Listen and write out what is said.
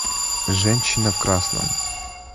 женщина в красном